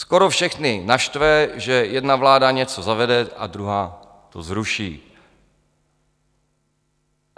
Skoro všechny naštve, že jedna vláda něco zavede a druhá to zruší.